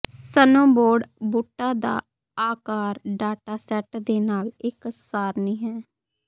snowboard ਬੂਟਾਂ ਦਾ ਆਕਾਰ ਡਾਟਾ ਸੈਟ ਦੇ ਨਾਲ ਇੱਕ ਸਾਰਣੀ ਹੈ